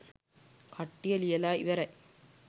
කට්ටිය ලියලා ඉවරයි